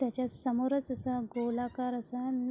त्याच्या समोर च असा गोल आकार असा--